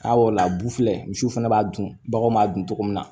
A la bu filɛ misiw fɛnɛ b'a dun baganw b'a dun cogo min na